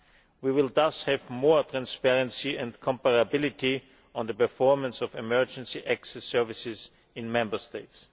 We will thus have more transparency and comparability on the performance of emergency access services in Member States.